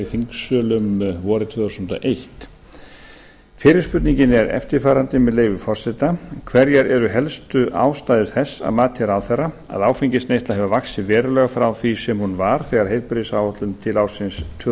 þingsölum vorið tvö þúsund og eitt fyrri spurningin er eftirfarandi með leyfi forseta fyrsta hverjar eru helstu ástæður þess að mati ráðherra að áfengisneysla hefur vaxið verulega frá því sem hún var þegar heilbrigðisáætlun til ársins tvö